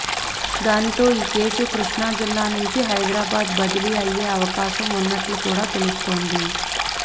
దీనితో ఈ కేసు కృష్ణా జిల్లా నుంచి హైదరాబాద్ బదిలీ అయ్యే అవకాశం ఉన్నట్లు కూడా తెలుస్తోంది